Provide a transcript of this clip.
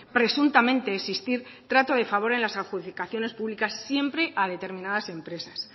presuntamente existir trato de favor en las adjudicaciones públicas siempre a determinadas empresas